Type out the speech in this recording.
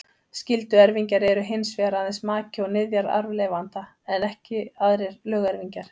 Skylduerfingjar eru hins vegar aðeins maki og niðjar arfleifanda, ekki aðrir lögerfingjar.